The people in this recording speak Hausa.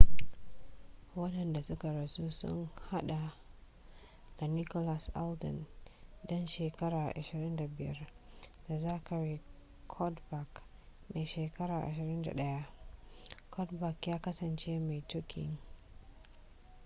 wandanda suka rasu sun hada da nicholas alden dan shekara 25 da zachary cuddeback mai shekara 21 cuddeback ya kasance mai tukin